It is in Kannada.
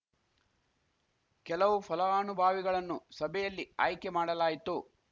ಕೆಲವು ಫಲಾನುಭಾವಿಗಳನ್ನು ಸಭೆಯಲ್ಲಿ ಆಯ್ಕೆ ಮಾಡಲಾಯಿತು